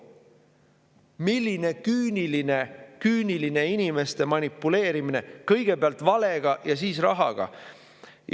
Milline küüniline inimeste manipuleerimine, kõigepealt valega ja siis rahaga!